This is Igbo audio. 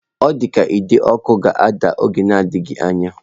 Ọ dị ka ide ọkụ ga-ada n'oge na-adịghị anya.